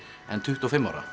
en tuttugu og fimm ára